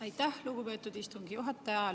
Aitäh, lugupeetud istungi juhataja!